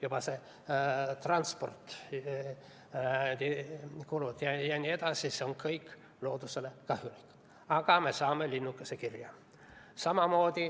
Juba see transport, kulud ja nii edasi – see on loodusele kahjulik, aga me saame linnukese kirja.